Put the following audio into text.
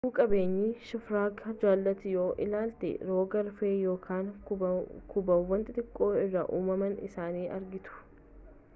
lubbu-qabeeyyii shifargaa jalatti yoo ilaaltan rog-arfee yookaan kubbaawwan xixiqqoo irraa uumamuu isaanii argitu